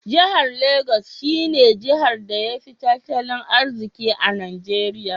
Jihar Lagos she ne Jihar da ya fi tatali arziki a Najeria.